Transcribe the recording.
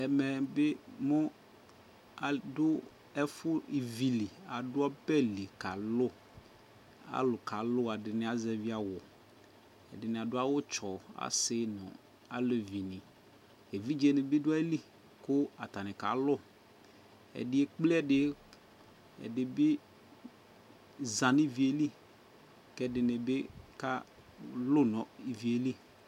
Ɛmɛ bι mʋ adʋ mɛ ivi li, adʋ ɔbɛ li kaa lʋ,alʋ ka lʋ, ɛdιnι azɛvι awʋ, ɛdιnι adʋ awʋ tsɔ, asι nʋ alevii, evidze nι bι dʋ ayili kʋ atanι ka lʋ Ɛdι ekple ɛdι, ɛdι bι za nʋ ivi yɛ li, kʋ ɛdιnι bι kalʋ nʋ ivi yɛli